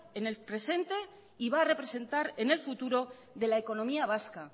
en el presente y va a representar en el futuro de la economía vasca